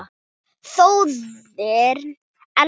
Þjóðin elskar hana.